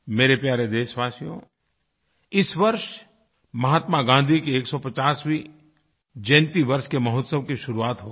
मेरे प्यारे देशवासियोइस वर्ष महात्मा गाँधी की 150वीं जयंतीवर्ष के महोत्सव की शुरुआत होगी